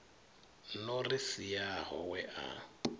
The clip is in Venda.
no ri siaho we a